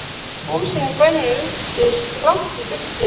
Húsin í bænum virtust langt í burtu.